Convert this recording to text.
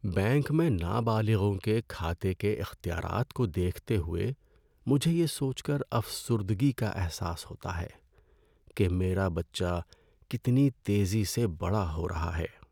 Bank میں نابالغوں کے کھاتے کے اختیارات کو دیکھتے ہوئے مجھے یہ سوچ کر افسردگی کا احساس ہوتا ہے کہ میرا بچہ کتنی تیزی سے بڑا ہو رہا ہے۔